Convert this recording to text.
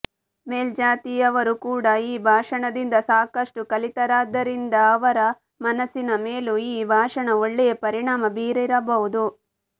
ಮೇಲ್ಜಾತಿಯವರು ಕೂಡ ಈ ಭಾಷಣದಿಂದ ಸಾಕಷ್ಟು ಕಲಿತರಾದ್ದರಿಂದ ಅವರ ಮನಸ್ಸಿನ ಮೇಲೂ ಈ ಭಾಷಣ ಒಳ್ಳೆಯ ಪರಿಣಾಮ ಬೀರಿರಬಹುದು